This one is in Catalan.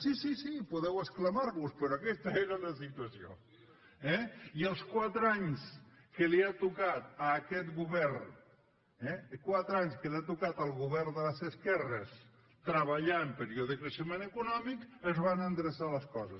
sí sí podeu exclamar vos però aquesta era la situació eh i els quatre anys que li ha tocat a aquest govern al govern de les esquerres treballar en període de creixement econòmic es van endreçar les coses